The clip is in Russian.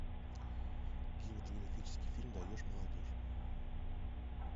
кинематографический фильм даешь молодежь